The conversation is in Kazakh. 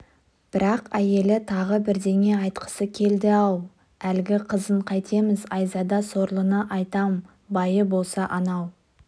бірақ әйелі тағы бірдеңе айтқысы келді ау әлгі қызын қайтеміз айзада сорлыны айтам байы болса анау